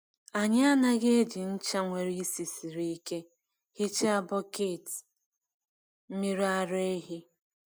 Anyị anaghị eji ncha nwere ísì siri ike hichaa bọket mmiri ara ehi.